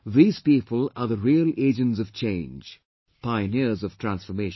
These people are the real Agents of Change, pioneers of transformation